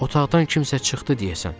Otaqdan kimsə çıxdı deyəsən.